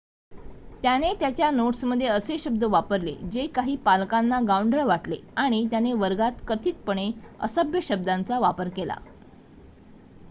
त्याने त्याच्या नोट्समध्ये असे शब्द वापरले जे काही पालकांना गावंढळ वाटले आणि त्याने वर्गात कथितपणे असभ्य शब्दांचा वापर केला